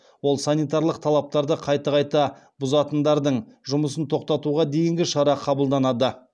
ол санитарлық талаптарды қайта қайта бұзатындардың жұмысын тоқтатуға дейінгі шара қабылданады